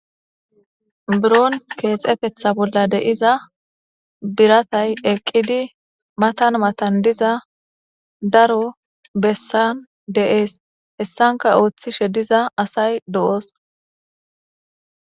Biron keexetetha bolla de'iza biratay eqqidi matan matan diza daro bessan de'es hessanka ooththishe diza asay de'osona.